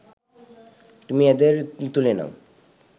তুমি এদের তুলে নাও